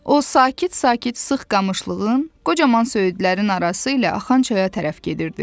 O, sakit-sakit sıx qamışlığın, qocaman söyüdlərin arası ilə axan çaya tərəf gedirdi.